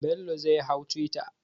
Bello zai hau twitter.